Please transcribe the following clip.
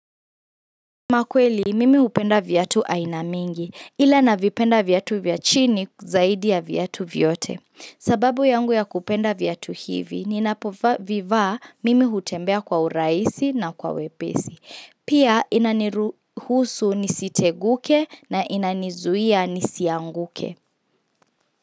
Makweli, mimi hupenda viatu aina mingi, ila navipenda viatu vya chini zaidi ya viatu vyote. Sababu yangu ya kupenda viatu hivi, ninapovivaa mimi hutembea kwa urahisi na kwa wepesi. Pia inaniruhusu nisiteguke na inanizuia nisianguke.